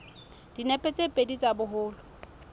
dinepe tse pedi tsa boholo